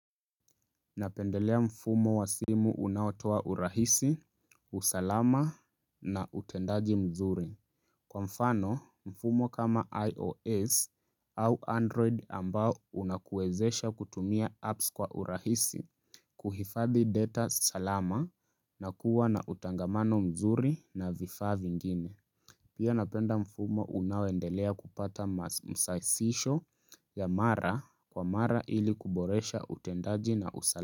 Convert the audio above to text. Napendelea mfumo wa simu unaotoa urahisi, usalama na utendaji mzuri. Kwa mfano, mfumo kama IOS au Android ambao unakuezesha kutumia apps kwa urahisi, kuhifadhi data salama na kuwa na utangamano mzuri na vifaa vingine. Pia napenda mfumo unaoendelea kupata masasisho ya mara kwa mara ili kuboresha utendaji na usalama.